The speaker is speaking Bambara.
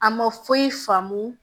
A ma foyi faamu